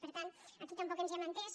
per tant aquí tampoc ens hem entès